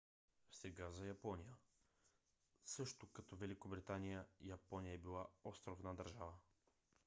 сега за япония. също като великобритания япония е била островна държава